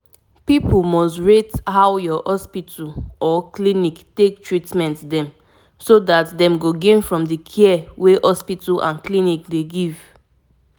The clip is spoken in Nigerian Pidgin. honestly i always try to put walking for front even when i no get time e dey help me well well.